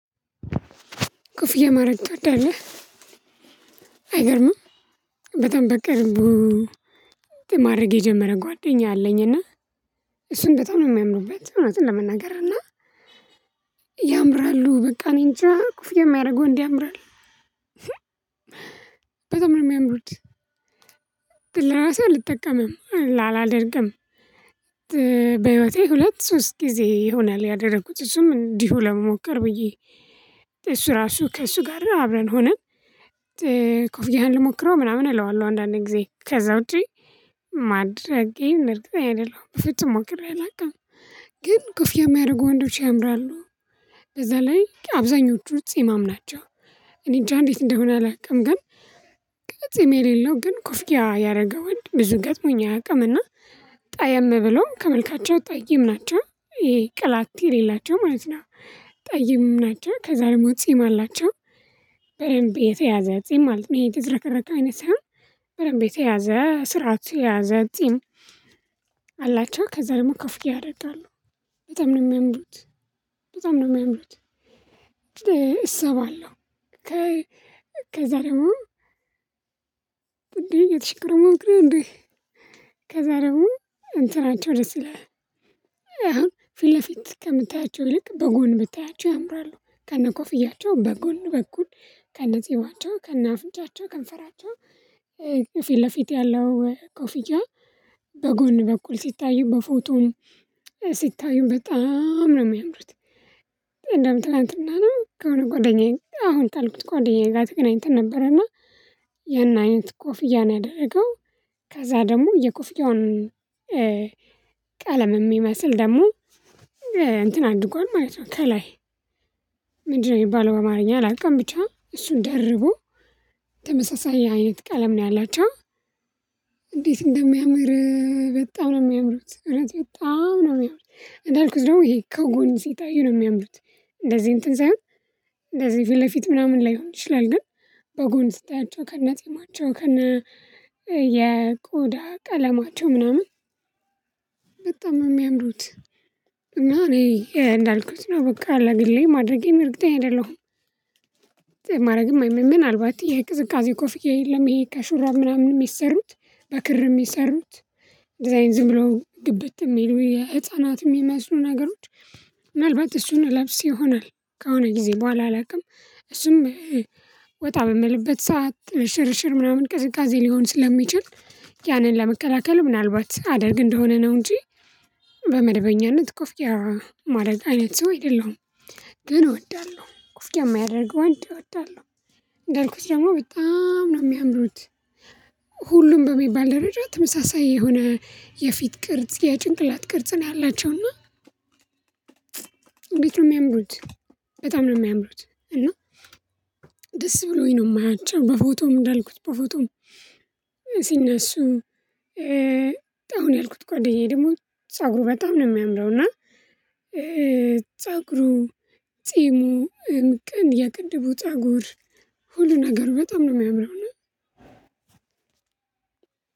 ክፍያ ማድረግ ትወዳለህ አይገርምም? በጣም በቅርቡ ማድረግ የጀመረ ጓደኛ አለኝ። እና እሱን በጣም ነው የሚያምኑበት እውነት ለመናገር እና ያምራሉ በቃ እኔንጃ ኩፍያ የሚያደርግ ወንድ ያምራል ነው። የሚያምሩት ለራሱ አልጠቀምም አላደርግም። በህይወቴ ሁለት ሶስት ጊዜ ይሆናል ያደረኩት እሱም እንዲሁ ለመሞከር ብዬ። እሱ ራሱ ከእሱ ጋር አብረን ሆነን። ኮፍያህን ልሞክረው ምናምን እለዋለሁ አንዳንዴ ጊዜ ከዛ ውጪ ማድረጌን እርግጠኛ አይደለሁም። በፍጹም ሞክሬ አላውቅም። ግን ኮፍያ የሚያደርጉ ወንዶች ያምራሉ። በዛ ላይ አብዛኞቹ ጺማም ናቸው። እኔ እንጃ እንዴት እንደሆነ አላውቅም ግን። ጺም የሌለው ግን ኮፍያ ያደረገ ወንድ ብዙ ገጥሞኝ አያውቅም። እና ጠየም ብሎም ከመልካቸው ጠይም ናቸው ይሄ ቅላት የሌላቸው ማለት ነው። ጠይም ናቸው ከዛ ደግሞ ጺም አላቸው። በደንብ የተያዘ ጺም ማለት ነው የተዘረከረከ አይነት ሳይሆን በደንብ የተያዘ ስርዓት የያዘ ጺም። አላቸው ከዛ ደግሞ ኮፍያ ያደርጋሉ። በጣም ነው የሚያምሩት። በጣም ነው የሚያምሩት። እሳባለሁ። ከዛ ደግሞ እንዴ የተሸክሮ ሞክሬ እንዴ ከዛ ደግሞ እንትናቸው ደስ ይላል። አሁን ፊት ለፊት ከምታያቸው ልክ በጎን ብታያቸው ያምራሉ ከነኮፍያቸው በጎን በጎን ከነ ጺማቸው ከነ አፍንጫቸው ከንፈራቸው። ከፊት ለፊት ያለው ኮፍያ። በጎን በኩል ሲታዩ በፎቶው ሲታዩ በጣም ነው የሚያምሩት። እንደውም ትላንትና ነው ከሆነ ጓደኛዬ አሁን ታልኩት ጓደኛዬ ጋር ተገናኝተን ነበረና። የናይንት ቆፍያ ነው ያደረገው። ከዛ ደግሞ የኮፍያውን ቀለም የሚመስል ደግሞ እንትን አድርጓል ማለት ነው። ከላይ ምንድነው የሚባለው? አማርኛ አላውቅም ብቻ እሱን ደርቦ። ተመሳሳይ አይነት ቀለም ነው ያላቸው። እንዴት እንደሚያምር? በጣም ነው የሚያምሩት እውነት በጣም ነው የሚያምሩት። እንዳልኩት ደግሞ ይሄ ከጎን ሲጣዩ ነው የሚያምሩት። እንደዚህ እንትን ሳይሆን እንደዚህ ፊት ለፊት ምናምን ላይሆን ይችላል ግን። በጎን ስታያቸው ከነጺማቸው ከነ የቆዳ ቀለማቸው ምናምን በጣም የሚያምዱት። እና እኔ እንዳልኩት ነው በቃ አላግሌ ማድረጌም እርግጠኛ አይደለሁም። ማድረግም ምናልባት ይሄ ቅዝቃዜ ኮፍዬ የለም ይሄ ከሹራብ ምናምን የሚሰሩት በክር የሚሰሩት። ዲዛይን ዝም ብለው ግብት የሚሉ የህፃናት የሚመስሉ ነገሮች። ምናልባት እሱን እለብስ ይሆናል። ከአሆነ ጊዜ በኋላ አላውቅም። እሱም ወጣ በምልበት ሰዓት ሽርሽር ምናምን ቅዝቃዜ ሊሆን ስለሚችል። ያንን ለመከላከል ምናልባት አደርግ እንደሆነ ነው እንጂ። በመደበኛነት ኮፍያ ማድረግ አይነት ሰው አይደለሁም። ግን እወዳለሁ ኮፍያ የማያደርገው ወንድ እወዳለሁ። ገልኩት ደግሞ በጣም ነው የሚያምሩት። ሁሉም በሚባል ደረጃ ተመሳሳይ የሆነ የፊት ቅርጽ የጭንቅላት ቅርጽ ነው ያላቸው እና እንግዲህ ነው የሚያምሩት። በጣም ነው የሚያምሩት። እና ደስ ብሎኝ ነው የማያቸው በፎቶም እንዳልኩት በፎቶም እነሱ አሁን ያልኩት ጓደኛዬ ደግሞ ፀጉሩ በጣም ነው የሚያምረው። እና ፀጉሩ ጺሙ ቀን የቅድቡ ፀጉር ሁሉ ነገር በጣም ነው የሚያምነው።